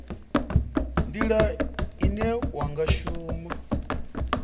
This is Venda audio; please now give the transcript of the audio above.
nila ine wa nga shuma